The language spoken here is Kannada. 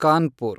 ಕಾನ್ಪುರ್